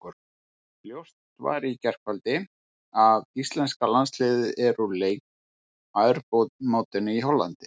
Ljóst var í gærkvöldi að íslenska landsliðið er úr leik á Evrópumótinu í Hollandi.